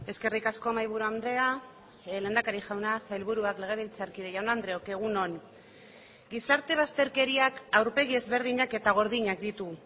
eskerrik asko mahaiburu andrea lehendakari jauna sailburuak legebiltzarkide jaun andreok egun on gizarte bazterkeriak aurpegi ezberdinak eta gordinak ditu